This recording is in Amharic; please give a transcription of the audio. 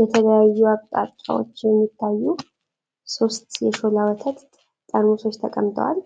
የተለያዩ አቅጣጫዎች የሚታዩ ሶስት የሾላ ወተት ጠርሙሶች ተቀምጠዋል።